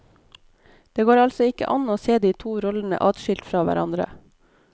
Det går altså ikke an å se de to rollene adskilt fra hverandre.